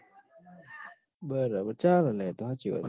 બરાબર ચાલ લ્યા એતો હાચી વાત સ